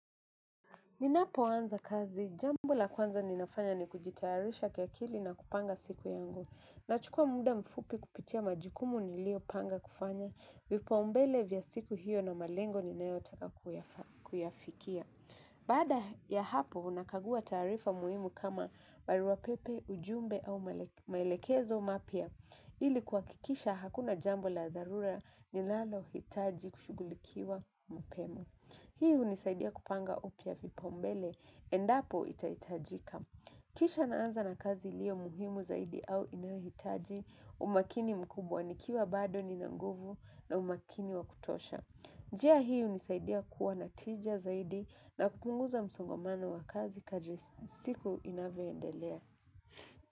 Ninapo anza kazi jambo la kwanza ninafanya ni kujitayarisha kwa akili na kupanga siki yangu. Nachukua muda mfupi kupitia majukumu niliyo panga kufanya, vipaumbele vya siku hiyo na malengo ninayotaka kuyafikia. Baada ya hapo unakagua taarifa muhimu kama barua pepe, ujumbe au maelekezo mapya. Ili kuhakikisha hakuna jambo la dharura ninalo hitaji kushughulikiwa mapema. Hii hunisaidia kupanga upya vipaumbele, endapo itahitajika. Kisha naanza na kazi lio muhimu zaidi au inahitaji, umakini mkubwa ni kiwa bado ni nanguvu na umakini wakutosha. Njia hii hunisaidia kuwa na tija zaidi na kupunguza msongamano wa kazi kadri siku inavyo endelea.